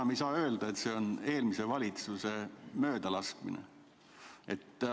Enam ei saa öelda, et see on eelmise valitsuse möödalaskmine.